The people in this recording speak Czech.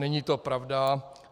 Není to pravda.